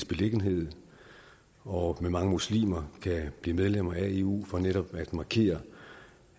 beliggenhed og med mange muslimer kan blive medlem af eu for netop at markere